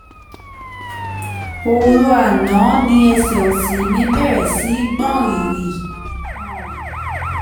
oru àná ni ẹsẹ̀ òsì mi bẹ̀rẹ̀ sí gbọ̀n rìrì um